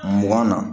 Mugan na